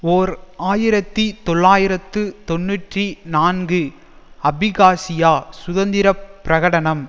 ஓர் ஆயிரத்தி தொள்ளாயிரத்து தொன்னூற்றி நான்கு அபிகாசியா சுதந்திர பிரகடனம்